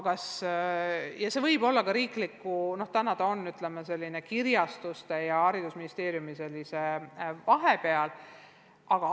Täna ta on, ütleme, selline kirjastuste ning Haridus- ja Teadusministeeriumi vahepealne asi.